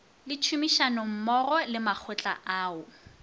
le tšhomišanommogo le makgotla ao